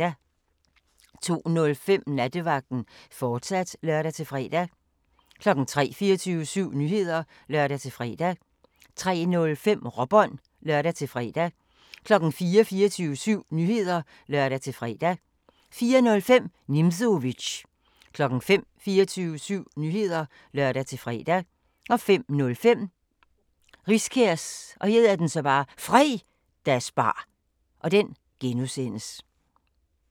02:05: Nattevagten, fortsat (lør-fre) 03:00: 24syv Nyheder (lør-fre) 03:05: Råbånd (lør-fre) 04:00: 24syv Nyheder (lør-fre) 04:05: Nimzowitsch 05:00: 24syv Nyheder (lør-fre) 05:05: Riskærs Fredagsbar (G)